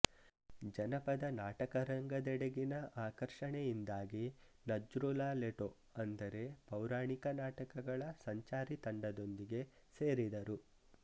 ಜನಪದ ನಾಟಕ ರಂಗದೆಡೆಗಿನ ಆಕರ್ಷಣೆಯಿಂದಾಗಿ ನಜ್ರುಲ ಲೆಟೊ ಅಂದರೆ ಪೌರಾಣಿಕ ನಾಟಕಗಳ ಸಂಚಾರಿ ತಂಡದೊಂದಿಗೆ ಸೇರಿದರು